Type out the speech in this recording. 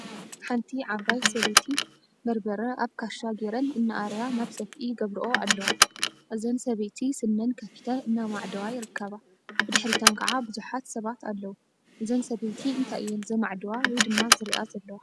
ሓንቲ ዓባይ ሰበይቲ በርበረ አብ ካሻ ገይረን እናአረያ ናብ ሰፍኢ ይገብርኦ አለዋ፡፡ እዛን ሰበይቲ ስነን ከፊተን እናመዓደዋ ይርከባ፡፡ ብድሕሪተን ከዓ ቡዙሓት ሰባት አለው፡፡ እዘን ሰበይቲ እንታይ እየን ዘመዓድዋ/ዝሪአ/ ዘለዋ?